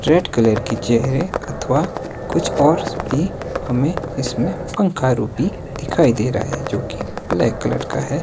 Red colour की चेयरे अथवा कुछ और भी हमें इसमें पंखा रूपी दिखाई दे रहा है जो की ब्लैक कलर का है।